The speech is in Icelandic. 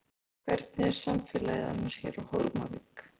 Kristján Már: Hvernig er samfélagið annars hér á Hólmavík?